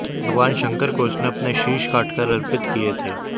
भगवान शंकर को उसने अपने शीश काटकर अर्पित किये थे